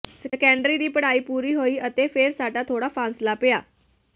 secondary ਦੀ ਪੜਾਈ ਪੂਰੀ ਹੋਈ ਅਤੇ ਫੇਰ ਸਾਡਾ ਥੋੜਾ ਫਾਸਲਾ ਪਿਆ